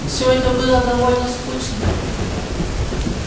все это было довольно скучно